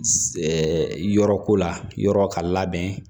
yɔrɔ ko la yɔrɔ ka labɛn